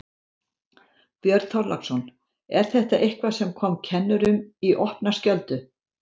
Björn Þorláksson: Er þetta eitthvað sem kom kennurum í opna skjöldu?